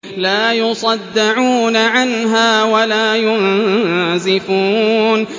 لَّا يُصَدَّعُونَ عَنْهَا وَلَا يُنزِفُونَ